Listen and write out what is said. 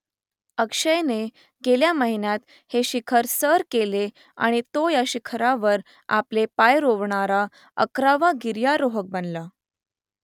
अक्षयने गेल्या महिन्यात हे शिखर सर केले आणि तो या शिखरावर आपले पाय रोवणारा अकरावा गिर्यारोहक बनला